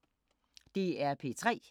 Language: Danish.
DR P3